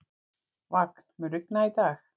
Vagn, mun rigna í dag?